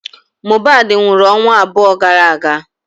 Mohbad nwụrụ ọnwa abụọ gara aga.